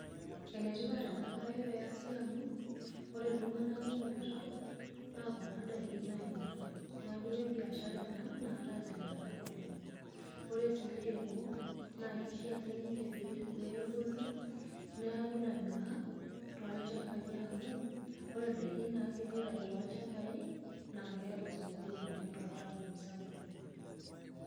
Enetipat ena bae peasi amu, ore iltunganak kumok letaon naa kuna indaiki nainyiank. Neeku kebiashara ena naata ilnyiankak oleng', ore sii ilairemok kishaa sininje peegolu neeku ilanyuak too ilchambai amu ore indaiki naagira aitayu too ilchambai naa keeta osokoni oleng' too ntaonini sapukin.